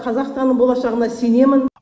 қазақстанның болашағына сенемін